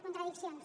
contradiccions